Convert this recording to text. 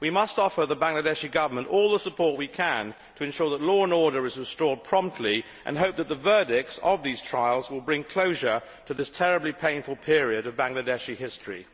We must offer the Bangladeshi Government all the support we can to ensure that law and order is restored promptly, and hope that the verdicts of these trials will bring closure to this terribly painful period of Bangladeshi history.